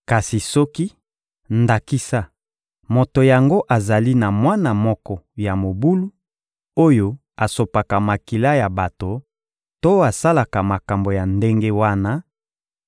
Kasi soki, ndakisa, moto yango azali na mwana moko ya mobulu, oyo asopaka makila ya bato to asalaka makambo ya ndenge wana,